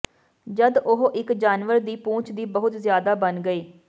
ਜਦ ਉਹ ਇੱਕ ਜਾਨਵਰ ਦੀ ਪੂਛ ਦੀ ਬਹੁਤ ਜ਼ਿਆਦਾ ਬਣ ਗਈ